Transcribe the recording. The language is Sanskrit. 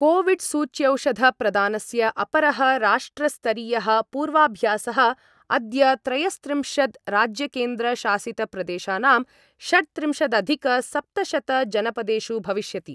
कोविड्सूच्यौषधप्रदानस्य अपरः राष्ट्रस्तरीयः पूर्वाभ्यासः अद्य त्रयस्त्रिंशद् राज्यकेन्द्रशासितप्रदेशानां षट्त्रिंशदधिकसप्तशतजनपदेषु भविष्यति।